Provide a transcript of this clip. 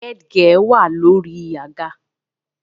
The headgear is on the chair